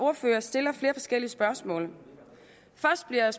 ordfører stiller flere forskellige spørgsmål først bliver jeg